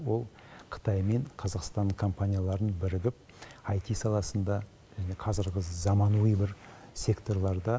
ол қытай мен қазақстан компанияларының бірігіп аити саласында қазіргі заманауи бір секторларда